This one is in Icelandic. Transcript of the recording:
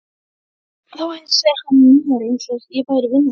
Þá heilsaði hann mér eins og ég væri vinur hans.